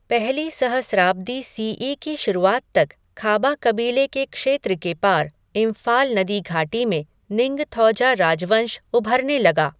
पहली सहस्राब्दी C E की शुरुआत तक, खाबा कबीले के क्षेत्र के पार, इंफाल नदी घाटी में निंगथौजा राजवंश उभरने लगा।